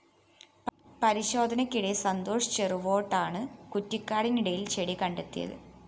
പരിശോധനക്കിടെ സന്തോഷ് ചെറുവോട്ടാണ് കുറ്റിക്കാടിനിടയില്‍ ചെടി കണ്ടെത്തിയത്